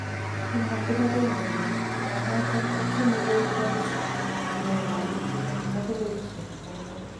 Kimwa kibagenge kole tilanoton kotyeme koig rohisi konyor kamatik tagulo isiek choton